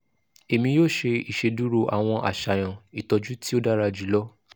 emi yoo ṣe iṣeduro awọn aṣayan itọju ti o dara julọ